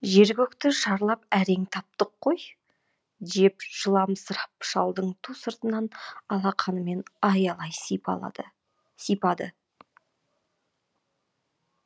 жер көкті шарлап әрең таптық қой деп жыламсырап шалдың ту сыртынан алақанымен аялай сипады